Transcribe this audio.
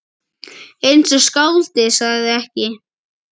Eins og skáldið sagði ekki.